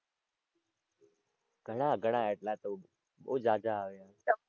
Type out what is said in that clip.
ઘણાં ઘણાં એટલાં તો બહું ઝાઝા આવ્યા.